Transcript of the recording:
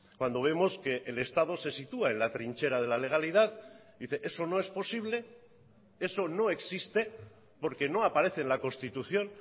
cuando vemos que el estado se sitúa en la trinchera de la legalidad dice eso no es posible eso no existe porque no aparece en la constitución